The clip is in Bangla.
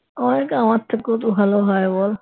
অনেকে তো আমার থেকেও তো ভালো হয় বল?